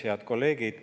Head kolleegid!